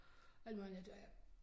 Alt muligt andet og der jeg